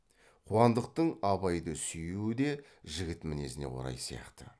қуандықтың абайды сүюі де жігіт мінезіне орай сияқты